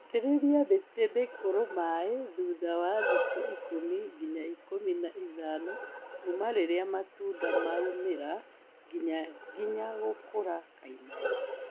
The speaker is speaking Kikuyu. itĩrĩria mĩtĩ mĩkũrũ maĩ thutha wa thikũ ikũmi nginya ikũmi na ithano kuma rĩrĩa matunda maumĩra nginya nginya gũkũra kaimana.